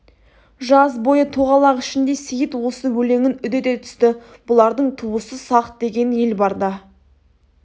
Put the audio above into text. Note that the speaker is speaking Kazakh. жаз бойы тоғалақ ішінде сейіт осы өлеңін үдете түсті бұлардың туысы сақ деген ел бар да